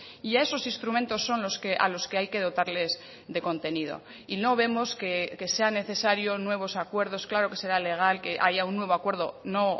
y a esos instrumentos son a los que hay que dotarles de contenido y no vemos que sean necesario nuevos acuerdos claro que será legal que haya un nuevo acuerdo no